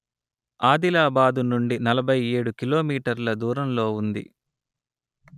ఆదిలాబాదు నుండి నలభై ఏడు కిలోమీటర్ల దూరంలో ఉంది